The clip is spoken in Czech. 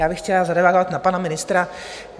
Já bych chtěla zareagovat na pana ministra.